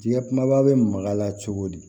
Jɛgɛ kumaba bɛ maga a la cogo di